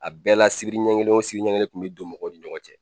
A bɛɛ la sibiri ɲɛ kelen o sibiri ɲɛ kelen kun bɛ don mɔgɔw ni ɲɔgɔn cɛ.